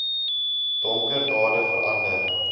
donker dade verander